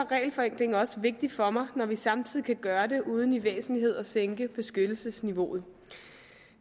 regelforenkling også vigtigt for mig når vi samtidig kan gøre det uden i væsentlighed at sænke beskyttelsesniveauet